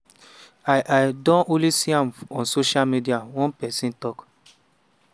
i i don only see am on social media” one pesin tok.